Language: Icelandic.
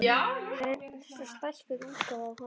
Hann var eins og stækkuð útgáfa af honum.